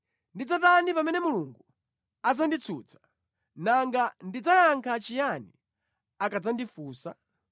ndidzatani pamene Mulungu adzanditsutsa? Nanga ndidzayankha chiyani akadzandifunsa?